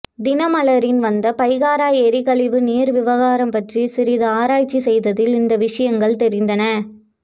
தினமலரின் வந்த பைகாரா எரி கழிவு நீர் விவகாரம் பற்றி சிறிது ஆராய்ச்சி செய்ததில் இந்த விஷயங்கள் தெரிந்தன